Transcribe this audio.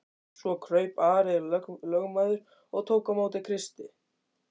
Svo kraup Ari lögmaður og tók á móti Kristi.